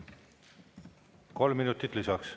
Kolm minutit lisaks.